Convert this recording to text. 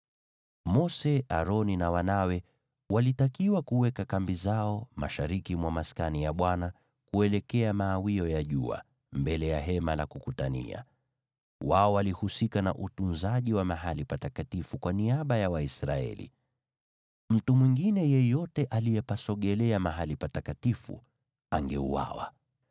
Mose, na Aroni na wanawe walitakiwa kuweka kambi zao mashariki mwa Maskani, kuelekea mawio ya jua, mbele ya Hema la Kukutania. Wao walihusika na utunzaji wa mahali patakatifu kwa niaba ya Waisraeli. Mtu mwingine yeyote aliyepasogelea mahali patakatifu angeuawa.